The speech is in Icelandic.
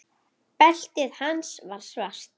Beltið hans var svart.